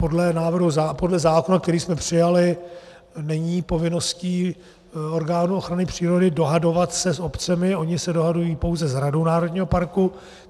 Podle zákona, který jsme přijali, není povinností orgánů ochrany přírody dohadovat se s obcemi, ony se dohadují pouze s radou národního parku.